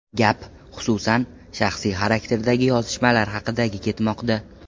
Gap, xususan, shaxsiy xarakterdagi yozishmalar haqidagi ketmoqda.